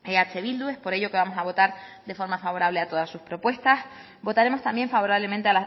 eh bildu es por ello que vamos a votar de forma favorable a todas sus propuestas votaremos también favorablemente